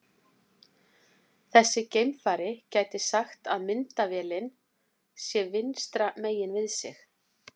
Þessi geimfari gæti sagt að myndavélin sé vinstra megin við sig.